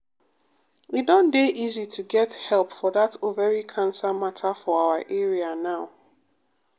e don dey easy to get help for that ovary cancer matter for our area now.